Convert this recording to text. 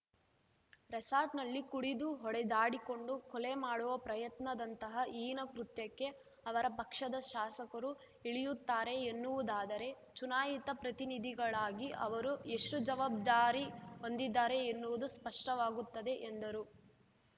ರೆಸಾರ್ಟ್‌ನಲ್ಲಿ ಕುಡಿದು ಹೊಡೆದಾಡಿಕೊಂಡು ಕೊಲೆ ಮಾಡುವ ಪ್ರಯತ್ನದಂತಹ ಹೀನ ಕೃತ್ಯಕ್ಕೆ ಅವರ ಪಕ್ಷದ ಶಾಸಕರು ಇಳಿಯುತ್ತಾರೆ ಎನ್ನುವುದಾದರೆ ಚುನಾಯಿತ ಪ್ರತಿನಿಧಿಗಳಾಗಿ ಅವರು ಎಷ್ಟುಜವಾಬ್ದಾರಿ ಹೊಂದಿದ್ದಾರೆ ಎನ್ನುವುದು ಸ್ಪಷ್ಟವಾಗುತ್ತದೆ ಎಂದರು